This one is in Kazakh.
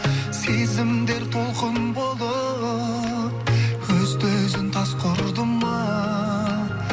сезімдер толқын болып өзді өзін тасқа ұрды ма